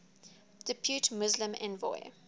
depute muslim envoy